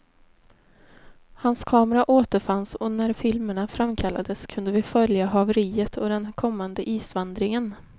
Hans kamera återfanns och när filmerna framkallades kunde vi följa haveriet och den kommande isvandringen.